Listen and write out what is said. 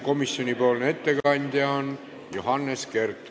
Komisjonipoolne ettekandja on Johannes Kert.